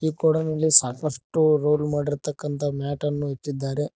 ಈ ಗೋಡೌನ್ ನಲ್ಲಿ ಸಾಕಷ್ಟು ರೋಲ್ ಮಾಡಿರ್ತಕ್ಕಂತ ಮ್ಯಾಟ್ ಅನ್ನು ಇಟ್ಟಿದ್ದಾರೆ.